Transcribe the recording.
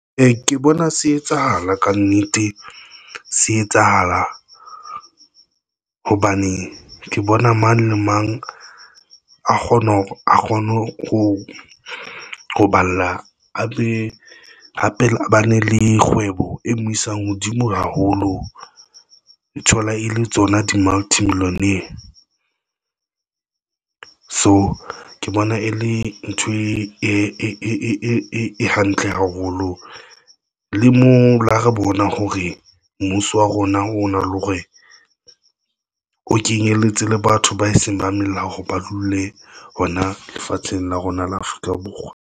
Ke bona se etsahala ka nnete. Se etsahala hobane ke bona mang le mang a kgona hore a kgone ho ho balla a mme hape ba ne le kgwebo e mo isang hodimo haholo. E thola e le tsona di multi millionaire so ke bona e le ntho e hantle haholo le mo ha re bona hore mmuso wa rona o hore o kenyelletse le batho ba seng ba melao ho ba dule hona lefatsheng la rona la Afrika Borwa.